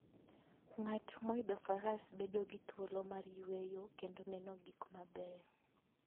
Ng'at moidho faras bedo gi thuolo mar yueyo kendo neno gik mabeyo.